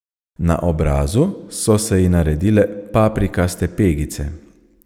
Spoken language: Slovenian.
Na obrazu so se ji naredile paprikaste pegice.